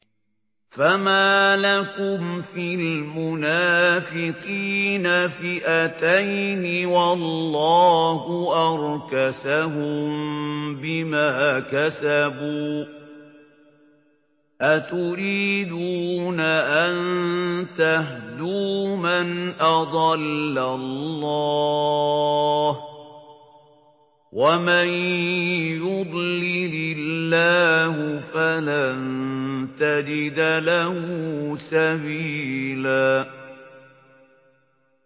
۞ فَمَا لَكُمْ فِي الْمُنَافِقِينَ فِئَتَيْنِ وَاللَّهُ أَرْكَسَهُم بِمَا كَسَبُوا ۚ أَتُرِيدُونَ أَن تَهْدُوا مَنْ أَضَلَّ اللَّهُ ۖ وَمَن يُضْلِلِ اللَّهُ فَلَن تَجِدَ لَهُ سَبِيلًا